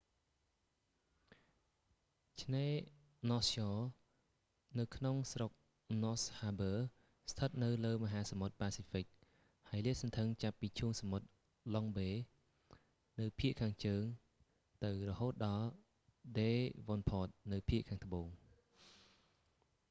ឆ្នេរណសស្យ៎នៅក្នុងស្រុកណស ហាបឺ ស្ថិតនៅលើមហាសមុទ្រប៉ាស៊ីហ្វិក ហើយលាតសន្ធឹងចាប់ពីឈូងសមុទ្រ ឡុងបេ នៅភាគខាងជើងទៅ រហូតដល់ ដេវ៉ុនផត នៅភាគខាងត្បូង